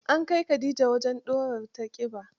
An kai Khadija wajen ɗurar ta ƙiba?